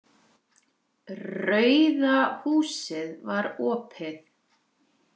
Rauða húsið var opið.